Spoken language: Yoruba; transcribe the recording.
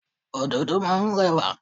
Ododo máa ń rẹwà.